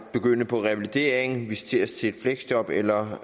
begynde på revalidering visiteres til fleksjob eller